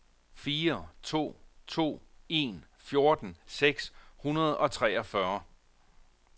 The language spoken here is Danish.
fire to to en fjorten seks hundrede og treogfyrre